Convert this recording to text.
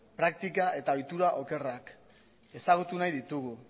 praktika eta ohitura okerrak ezagutu nahi ditugu